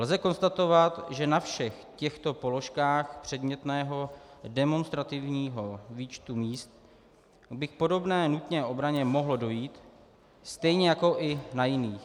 Lze konstatovat, že na všech těchto položkách předmětného demonstrativního výčtu míst by k podobné nutné obraně mohlo dojít stejně jako i na jiných.